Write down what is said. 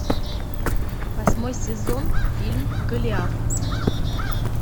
восьмой сезон фильм голиаф